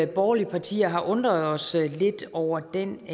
borgerlige partier har undret os lidt over den